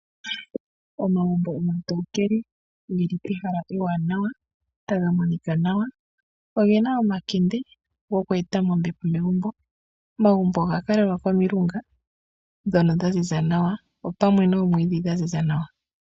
Omagumbo omatokele ge li pehala ewanawa taga monika nawa. Ogena omakende goku eta mo ombepo megumbo. Omagumbo oga kalelwa komilunga pamwe noomwiidhi dha ziza nawa.